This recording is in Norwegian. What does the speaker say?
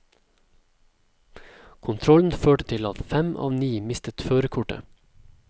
Kontrollen førte til at fem av ni mistet førerkortet.